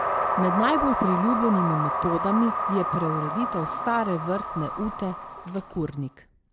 Med najbolj priljubljenimi metodami je preureditev stare vrtne ute v kurnik.